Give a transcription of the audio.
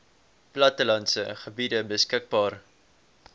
plattelandse gebiede beskikbaar